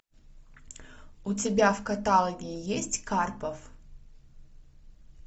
у тебя в каталоге есть карпов